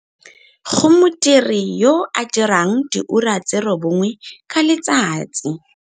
Go modiri yo a dirang diura tse 9 ka letsatsi.